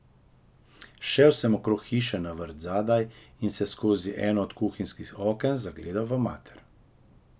Šel sem okrog hiše na vrt zadaj in se skozi eno od kuhinjskih oken zagledal v mater.